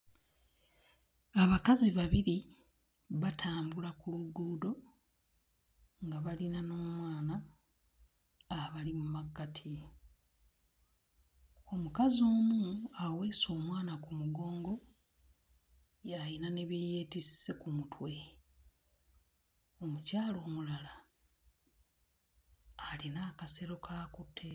Abakazi babiri batambula ku luguudo nga balina n'omwana abali mu makkati. Omukazi omu aweese omwana ku mugongo y'ayina ne bye yeetisse ku mutwe. Omukyala omulala alina akasero k'akutte.